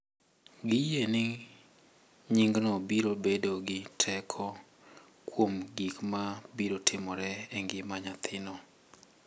Giyie ni nyingno biro bedo gi teko kuom gik ma biro timore e ngima nyathino.